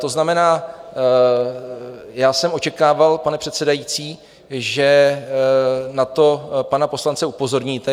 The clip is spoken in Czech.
To znamená, já jsem očekával, pane předsedající, že na to pana poslance upozorníte.